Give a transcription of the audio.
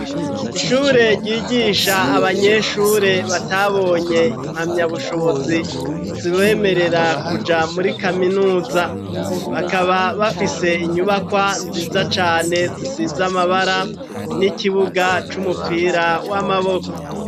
Ishure ryigisha abanyeshure batabonye impamya bushobozi zibemerera kuja muri kaminuza bakaba bafise inyubakwa nziza cane zisizamabara n'ikibuga c'umupira w'amaboko.